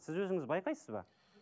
сіз өзіңіз байқайсыз ба